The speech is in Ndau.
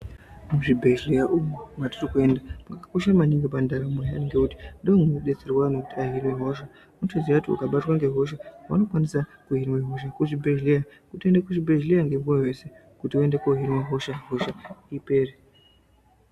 Muzvibhedhera umu matirikuenda makakosha maningi pandaramo yedu ngekuti ndimo munodetserwa antu kuti ahine hosha unotoziye kuti ukabatwe hosha, vanokwanise kuhine hosha. Kuchibhedhlera kutoenda kuchibhedhlera ngemoyo wese, wotoende kohinwa hosha kuti hosha ipere.